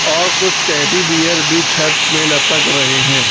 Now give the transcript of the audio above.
और कुछ teddy bear भी छत पे लतक रहे है।